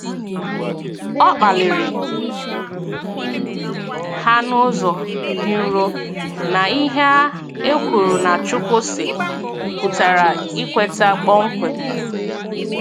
O kpaliri ha n'ụzọ dị nro na ihe a e kwuru na "Chukwu sị ' pụtara ikweta kpọmkwem